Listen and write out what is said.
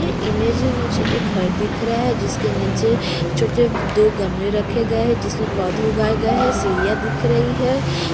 ये इमेज में मुझे एक घर दिख रहा है जिसके नीचे छोटे-छोटे दो गमले रखे गए हैं जिसमे पौधे उगाए गए हैं सीरियाँ दिख रही है।